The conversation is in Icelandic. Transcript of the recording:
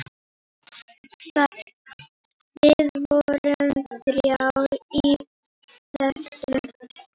Við vorum þrjár í þessu.